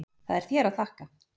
Það er þér að þakka.